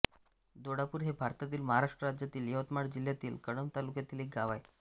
दोडापूर हे भारतातील महाराष्ट्र राज्यातील यवतमाळ जिल्ह्यातील कळंब तालुक्यातील एक गाव आहे